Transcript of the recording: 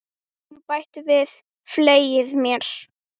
Hún bætir við: Fylgið mér